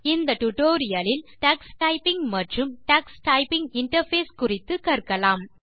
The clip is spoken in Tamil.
இந்த டியூட்டோரியல் லில் நீங்கள் டக்ஸ் டைப்பிங் மற்றும்Tux டைப்பிங் இன்டர்ஃபேஸ் குறித்து கற்கலாம்